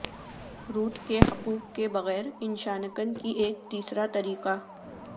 route کے حقوق کے بغیر انشانکن کی ایک تیسرا طریقہ